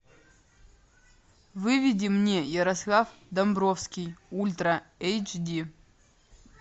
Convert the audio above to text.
выведи мне ярослав домбровский ультра эйч ди